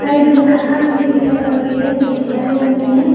Side में घास भी दिखाई पड़ रही है जो कि हरे रंग की है।